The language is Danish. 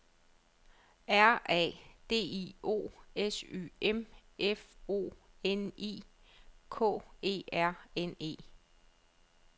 R A D I O S Y M F O N I K E R N E